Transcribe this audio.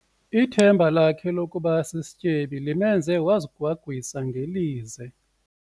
Ithemba lakhe lokuba sisityebi limenze wazigwagwisa ngelize.